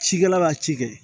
Cikɛla b'a ci kɛ